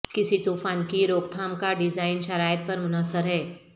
کسی طوفان کی روک تھام کا ڈیزائن شرائط پر منحصر ہے